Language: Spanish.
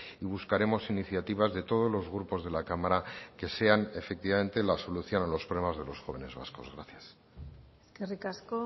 y buscaremos iniciativas de todos los grupos de la cámara que sean efectivamente la solución a los problemas de los jóvenes vascos gracias eskerrik asko